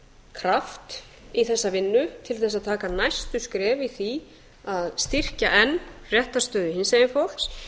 kraft í þessa vinnu til að taka næstu skref í því að styrkja enn réttarstöðu hinsegin fólks